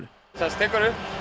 tekur